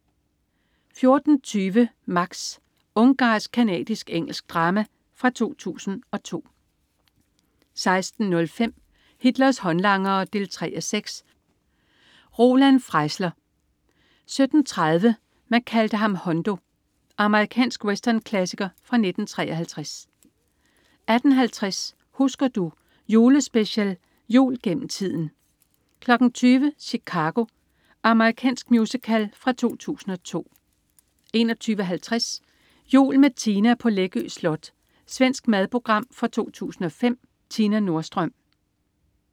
14.20 Max. Ungarsk-canadisk-engelsk drama fra 2002 16.05 Hitlers håndlangere 3:6. Roland Freisler 17.30 ... man kaldte ham Hondo. Amerikansk westernklassiker fra 1953 18.50 Husker du. Julespecial. "Jul gennem tiden" 20.00 Chicago. Amerikansk musical fra 2002 21.50 Jul med Tina på Läckö Slot. Svensk madprogram fra 2005. Tina Nordström